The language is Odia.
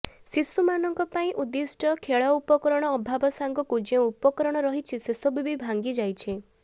ଶିଶୁମାନଙ୍କ ପାଇଁ ଉଦ୍ଦିଷ୍ଟ ଖେଳ ଉପକରଣ ଅଭାବ ସାଙ୍ଗକୁ ଯେଉଁ ଉପକରଣ ରହିଛି ସେସବୁ ବି ଭାଙ୍ଗି ଯାଇଛି